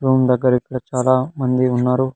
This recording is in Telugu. రూమ్ దగ్గర ఇక్కడ చాలా మంది ఉన్నారు.